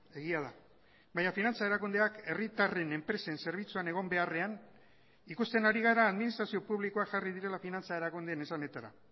egia da baina finantza erakundeak herritarren enpresen zerbitzuan egon beharrean ikusten ari gara administrazio publikoak jarri direla finantza erakundeen esanetara